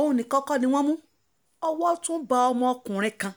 òun nìkan kọ́ ni wọ́n mú owó tún bá ọmọkùnrin kan